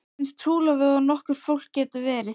Við erum eins trúlofuð og nokkurt fólk getur verið.